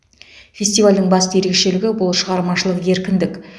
фестивальдің басты ерекшелігі бұл шығармашылық еркіндік